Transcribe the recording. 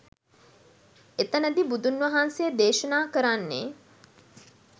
එතනදි බුදුන් වහන්සේ දේශනා කරන්නේ